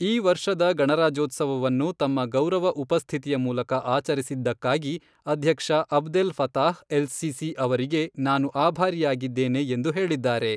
ಈ ವರ್ಷದ ಗಣರಾಜ್ಯೋತ್ಸವವನ್ನು ತಮ್ಮ ಗೌರವ ಉಪಸ್ಥಿತಿಯ ಮೂಲಕ ಆಚರಿಸಿದ್ದಕ್ಕಾಗಿ ಅಧ್ಯಕ್ಷ ಅಬ್ದೆಲ್ ಫತಾಹ್ ಎಲ್ ಸಿಸಿ ಅವರಿಗೆ ನಾನು ಆಭಾರಿಯಾಗಿದ್ದೇನೆ ಎಂದು ಹೇಳಿದ್ದಾರೆ.